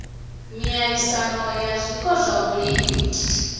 miaisano ya zwiko zwa vhulimi